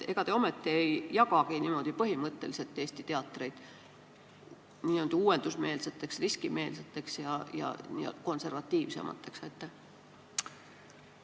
Ega te ometi ei jagagi Eesti teatreid põhimõtteliselt niimoodi n-ö uuendusmeelseteks, riskimeelseteks teatriteks ja konservatiivsemateks teatriteks?